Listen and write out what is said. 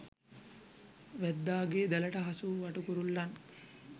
වැද්දාගේ දැලට හසු වූ වටු කුරුල්ලන්